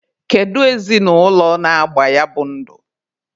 Kedu ezinụlọ na-agba ya bụ ndụ?